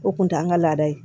O kun t'an ka laada ye